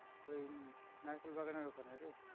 ওই নারকেল বাগানের ওইখানে রে